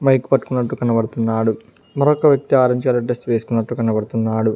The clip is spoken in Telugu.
బైక్ పట్టుకున్నట్టు కనబడుతున్నాడు మరొక వ్యక్తి ఆరెంజ్ కలర్ డ్రెస్ వేసుకున్నట్టు కనబడుతున్నాడు.